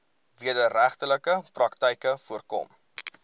wederregtelike praktyke voorkom